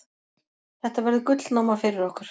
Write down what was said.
Þetta verður gullnáma fyrir okkur.